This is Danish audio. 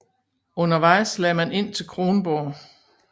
Undervejs lagde man ind til Kronborg